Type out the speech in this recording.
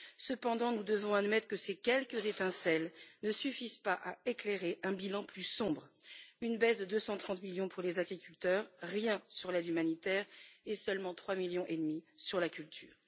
Cependant, nous devons admettre que ces quelques étincelles ne suffisent pas à éclairer un bilan plus sombre une baisse de 230 millions pour les agriculteurs, rien sur l'aide humanitaire et seulement 3,5 millions sur la culture.